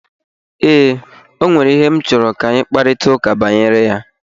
Ee, ọ nwere ihe m chọrọ ka anyi nwe mkaprịta ụka banyere ya.